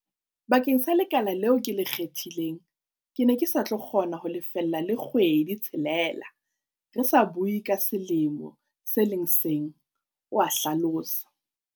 "Bakeng sa le kala leo ke le kgethileng, ke ne ke sa tlo kgona ho lefella le kgwedi-tshelela, re sa bue ka selemo se le seng," o a hlalosa.